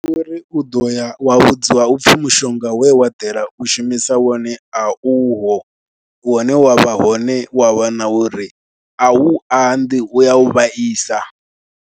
Uri u ḓo ya wa vhudziwa u pfhi mushonga we wa ḓela u shumisa wone a uho, une wa vha hone wa wana uri a u anḓi, u ya u vhaisa.